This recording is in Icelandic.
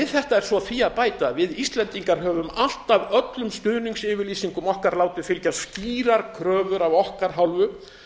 er svo því að bæta að við íslendingar höfum alltaf í öllum stuðningsyfirlýsingum okkar látið fylgja skýrar kröfur af okkar hálfu